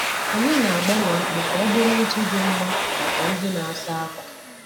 Anyị na-agbanwe akpụ ka ọ bụrụ ntụ dị mma maka ndị na-asa akwa.